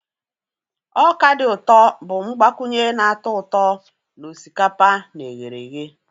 Ọka dị ụtọ bụ mgbakwunye na-atọ ụtọ na osikapa na eherehe.